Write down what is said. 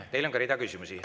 Teile on ka rida küsimusi.